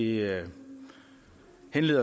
ikke